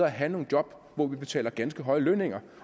at have nogle job hvor vi betaler ganske høje lønninger